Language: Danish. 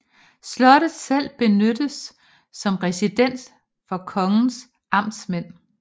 Slottet selv benyttedes som residens for kongens amtmænd